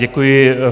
Děkuji.